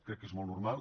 crec que és molt normal